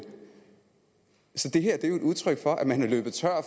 så det her er jo et udtryk for at man er løbet tør